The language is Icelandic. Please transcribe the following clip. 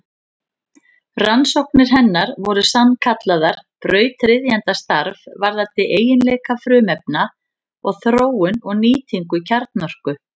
Rannsóknir hennar voru sannkallað brautryðjendastarf varðandi eiginleika frumefna og þróun og nýtingu kjarnorku.